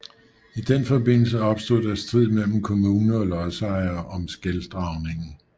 I den forbindelse opstod der strid mellem kommune og lodsejere om skeldragningen